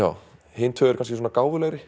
hin tvö eru kannski svona gáfulegri